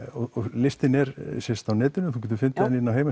listinn er sem sagt á netinu þú getur fundið hann inn á